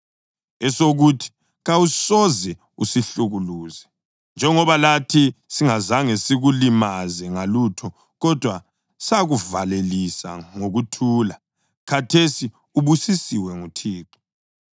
esokuthi kawusoze usihlukuluze, njengoba lathi singazange sikulimaze ngalutho kodwa sakuvalelisa ngokuthula. Khathesi usubusisiwe nguThixo.”